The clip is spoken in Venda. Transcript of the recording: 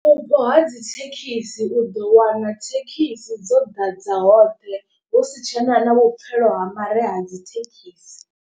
Vhupo ha dzithekhisi u ḓo wana thekhisi dzo ḓadza hoṱhe husi tshena na vhupfhelo ha mare ha dzithekhisi.